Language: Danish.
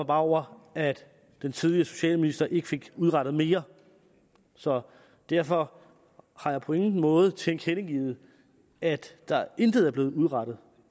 bare over at den tidligere socialminister ikke fik udrettet mere så derfor har jeg på ingen måde tilkendegivet at der intet er blevet udrettet